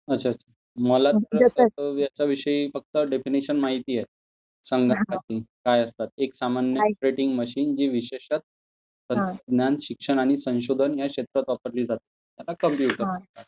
अच्छा. मला ह्यांच्याविषयी फक्त डेफिनिशन माहित आहे. संगणक काय असतात, एक सामान्य ऑपरेटिंग मशीन जे विशेषतः ज्ञान शिक्षण आणि संशोधन ह्या क्षेत्रात वापरली जाते त्याला कॉम्प्युटर म्हणतात.